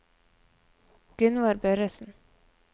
Gunnvor Børresen